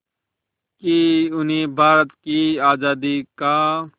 कि उन्हें भारत की आज़ादी का